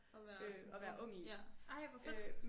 At være sådan ung ja ej hvor fedt